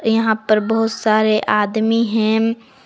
यहां पर बहुत सारे आदमी हैं।